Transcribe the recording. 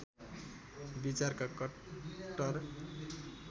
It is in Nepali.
विचारका कट्टर